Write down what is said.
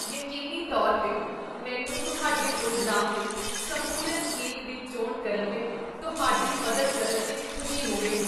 ਯਕੀਨੀ ਤੌਰ 'ਤੇ! ਮੈਨੂੰ ਤੁਹਾਡੇ ਪ੍ਰੋਗਰਾਮ ਲਈ ਸੰਪੂਰਨ ਕੇਕ ਦੀ ਚੋਣ ਕਰਨ ਲਈ ਤੁਹਾਡੀ ਮਦਦ ਕਰਨ ਵਿੱਚ ਖੁਸ਼ੀ ਹੋਵੇਗੀ।